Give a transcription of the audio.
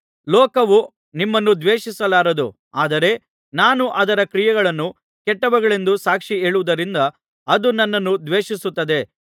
ಲೋಕವು ನಿಮ್ಮನ್ನು ದ್ವೇಷಿಸಲಾರದು ಆದರೆ ನಾನು ಅದರ ಕ್ರಿಯೆಗಳು ಕೆಟ್ಟವುಗಳೆಂದು ಸಾಕ್ಷಿ ಹೇಳುವುದರಿಂದ ಅದು ನನ್ನನ್ನು ದ್ವೇಷಿಸುತ್ತದೆ